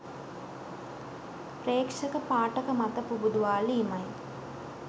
ප්‍රේක්ෂක පාඨක මත පුබුදුවාලීමයි.